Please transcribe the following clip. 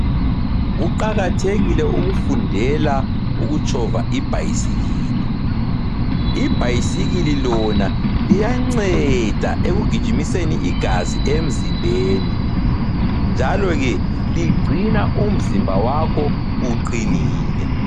Kuqakathekile ukufundela ukutshova ibhayisikili. Ibhayisikili lona liyanceda ekugijimiseni igazi emzimbeni njalo ke ligcina umzimba wakho uqinile.